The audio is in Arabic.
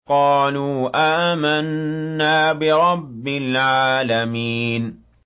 قَالُوا آمَنَّا بِرَبِّ الْعَالَمِينَ